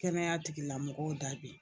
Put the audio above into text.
Kɛnɛya tigilamɔgɔw ta be yen